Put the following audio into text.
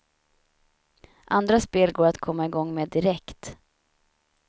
Andra spel går att komma i gång med direkt.